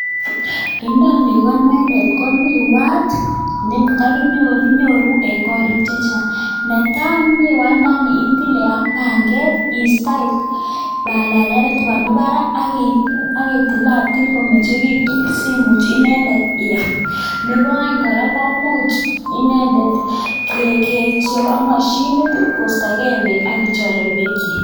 Inoni ko inendet ko miwat nekakinyor, kinyoru eng koriik chechang, ne tai, miwandani itile ak panget iistoi palalietab nemi barak ak itilatil komengechitu simuch inendet iam. Nebo aeng kora, ko imuch inendet kechope moshinit koistokee beek ak kichololu beekchi.